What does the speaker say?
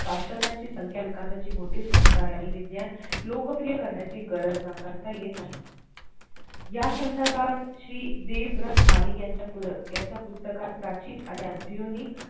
सशात्रज्ञांची संख्या विकासाची मोठी संख्या आणि विज्ञान लोकप्रिय करण्याची गरज नाकारता येत नाही या संधर्बात श्री देवरथ मालिक यांच्या याच्या पुस्तकात प्राचीन आणि अध्योनिक